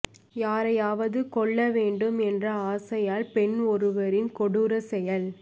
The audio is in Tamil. யாரையாவது கொல்ல வேண்டும் என்ற ஆசையால் பெண் ஒருவரின் கொடூர செயல்